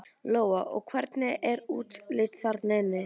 Lóa: Og hvernig er útlits þarna inni?